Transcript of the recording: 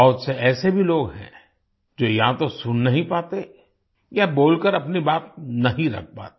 बहुत से ऐसे भी लोग हैं जो या तो सुन नहीं पाते या बोलकर अपनी बात नहीं रख पाते